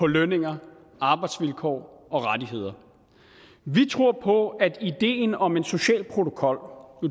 lønninger arbejdsvilkår og rettigheder vi tror på at ideen om en social protokol